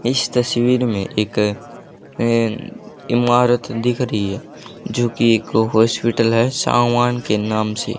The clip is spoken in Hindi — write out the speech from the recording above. इस तस्वीर में एक अं इमारत दिख रही है जो की एक को हॉस्पिटल है सावान के नाम से--